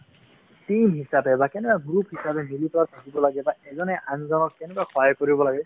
team হিচাপে বা কেনেকে group হিচাপে মিলি পেলাই থাকিব লাগে , এজনে আনজনক কেনেকে সহায় কৰিব লাগে ,